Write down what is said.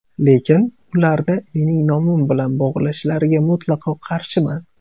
Lekin, ularni mening nomim bilan bog‘lashlariga mutlaqo qarshiman.